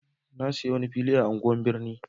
na saya fili a unguwan birni